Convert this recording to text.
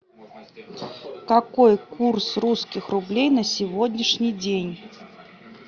какой курс русских рублей на сегодняшний день